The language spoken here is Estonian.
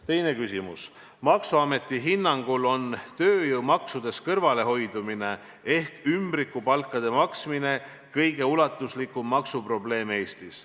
Teine küsimus: "Maksuameti hinnangul on tööjõumaksudest kõrvalehoidumine ehk ümbrikupalkade maksmine kõige ulatuslikum maksuprobleem Eestis.